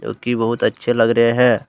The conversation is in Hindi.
जो कि बहुत अच्छे लग रहे हैं।